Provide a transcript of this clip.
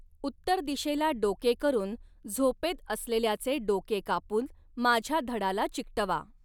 उत्तर दिशेला डोके करून झोपेत असलेल्याचे डोके कापून माझ्या धडाला चिकटवा.